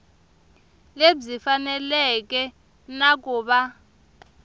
lebyi faneleke na ku va